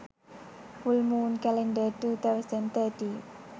full moon calendar 2013